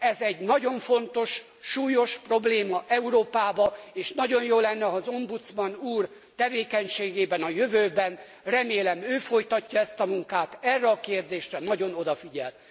Ez egy nagyon fontos, súlyos probléma Európába és nagyon jó lenne, ha az Ombudsman úr tevékenységében a jövőben remélem ő folytatja ezt a munkát erre a kérdésre nagyon odafigyel.